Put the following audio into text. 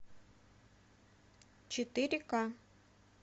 четыре ка